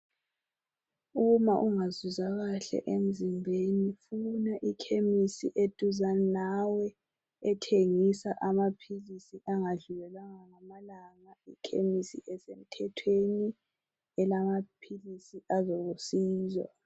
Uma ungazizwa kahle emzimbeni funa ikhemisi eduzane lawe ethengisa amaphilisi angadlulelwanga ngamalanga ,ikhemisi esemthethweni elamaphilisi alusizo